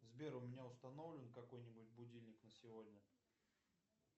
сбер у меня установлен какой нибудь будильник на сегодня